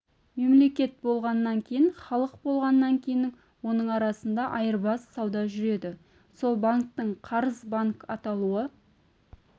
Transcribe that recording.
мемлекет болғаннан кейін халық болғаннан кейін оның арасында айырбас сауда жүреді сол банктің қарыз банк аталуы